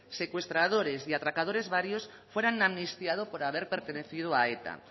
secuestradores y atracadores varios fueran amnistiados por haber pertenecido a eta